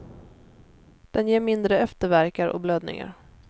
Den ger mindre eftervärkar och blödningar.